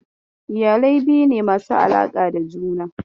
Iyalai biyu ne masu alaƙa da juna.